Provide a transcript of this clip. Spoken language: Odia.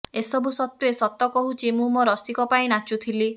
ଏସୁବ ସତ୍ୱେ ସତକହୁଛି ମୁଁ ମୋ ରସିକ ପାଇଁ ନାଚୁଥିଲି